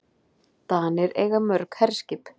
Danir eiga mörg herskip.